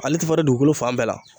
Ale te falen dugukolo fan bɛɛ la